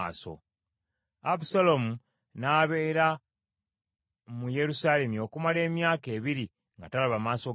Abusaalomu n’abeera mu Yerusaalemi okumala emyaka ebiri nga talaba maaso ga kabaka.